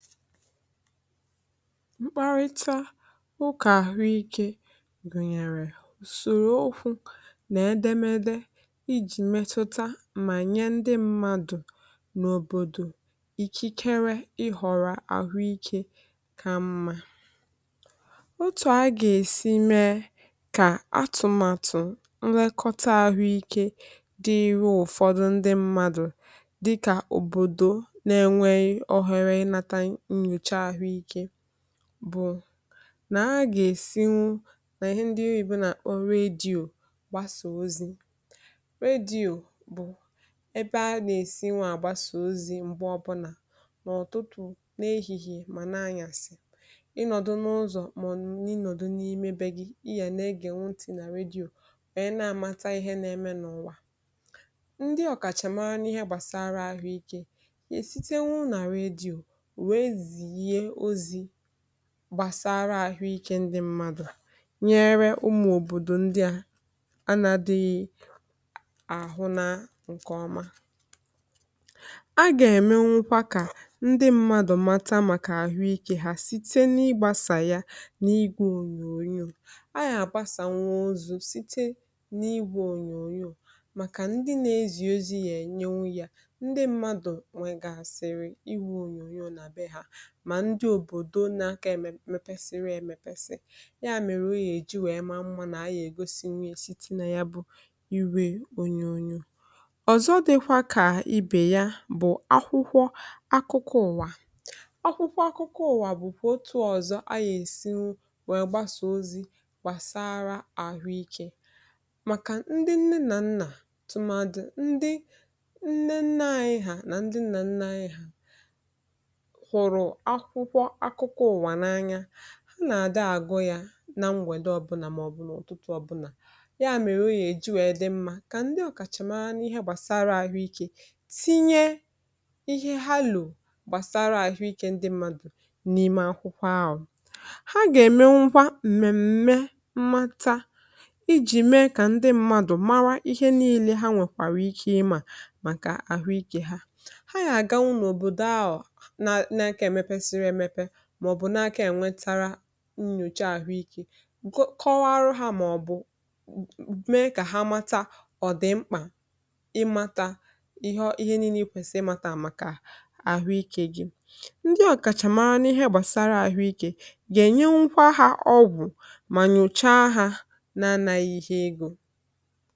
mkparịta ụkà àhụikė gụ̀nyèrè ùsòrò okwu nà edemede, ijì metuta mà nye ndị mmadụ̀ n’òbòdò ikikere ịhọ̀rọ̀ àhụikė kà mma. otù a gà-èsi mee kà atụ̀màtụ̀ nlekọta àhụikė dịru ụ̀fọdụ ndị mmadụ̀ bụ̀ nà ha gà-èsinwu nà ihe ndị ubi nà redio gbasà ozi̇. redio bụ̀ ebe ha nà-èsinwa àgbasà ozi̇, m̀gbe ọbụnà n’ọ̀tụtụ̀ n’ehìhìè mà nà-anyàsị̀, ịnọ̀dụ n’ụzọ̀ màọ̀nụ̀ inọ̀dụ̀ n’ime be gị̇, i hà nà-egè ntị̀ nà redio, nwèe na-amata ihe na-eme n’ụ̀wà. ndị ọ̀kàchàmara n’ihe gbàsara àhụike gbàsara àhụike, ndị mmadụ̀ nyere ụmụ̀ òbòdò ndị à anadịghị àhụ na ǹkè ọma, a gà-ème nwukwa kà ndị mmadụ̀ mata màkà àhụike ha site n’igbȧsà ya n’igwȧ ònyònyò. a yà gbasàkwa nwa ọzọ̇ site n’igwȧ ònyònyò màkà ndị na-ezì ozi, yȧ ènyenwu, yȧ ndị mmadụ̀ nwe gà-àsịrị. mà ndị òbòdò na aka emepesiri e mepesi ya, um mèrè o yà èji wèe maa mmȧ nà a yà ègosi nye site nà ya, bụ iwė ònyònyò. ọ̀zọ dịkwa kà ibè ya, bụ̀ akwụkwọ akụkụ ụ̀wà. akwụkwọ akụkụ ụ̀wà bụ̀kwà otù ọ̀zọ a yà èsiwu wèe gbasà ozi gbàsara àhụ ikė, màkà ndị nne nà nnà, tụmadụ̇ ndị nne nnà ahịhà nà ndị nnà nnà ahịhà. akụkọ̇ akụkọ ụ̀wà n’anya ha nà-àdị àgụ, yȧ na m̀wèdo ọbụnà, màọ̀bụ̀ n’ọ̀tụtụ ọbụnà. ya mèrè, um ogè èji wèe dị mmȧ kà ndị ọ̀kàchàmara n’ihe gbàsara àhụikė tinye ihe ha lụ̀ụ gbàsara àhụikė ndị mmadụ̀ n’ime akwụkwọ ahụ̀. ha gà-èmenwụgwa m̀mèm̀me mmatȧ, ijì mee kà ndị mmadụ̀ mara ihe niilė. ha nwèkwàrà ike ịmȧ màkà àhụikė ha. ha yà àgawụ n’òbòdò ahụ̀, màọ̀bụ̀ n’aka ènwe tara nnyòcha àhụikė, kọwaa arụ ha, màọ̀bụ̀ mee kà ha mata. ọ̀ dị̀ mkpà ị mata ihe niile kwèsì ị mata àmàkà àhụikė gị. ndị ọ̀kàchàmara n’ihe gbàsara àhụikė gà-ènyenwa ha ọgwụ̀, mà nyòcha ha nà-anȧ ihe ịgụ̇.